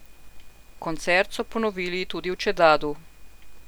Koncert so ponovili tudi v Čedadu.